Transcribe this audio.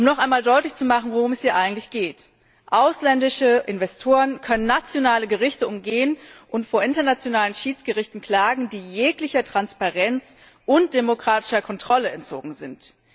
Um noch einmal deutlich zu machen, worum es hier eigentlich geht Ausländische Investoren können nationale Gerichte umgehen und vor internationalen Schiedsgerichten klagen, die jeglicher Transparenz und demokratischer Kontrolle entzogen sind.